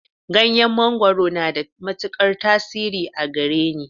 Ganyen mangwaro na da matukar tasiri a gareni.